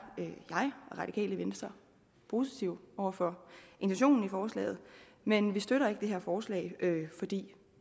jeg og radikale venstre positive over for intentionen i forslaget men vi støtter ikke det her forslag fordi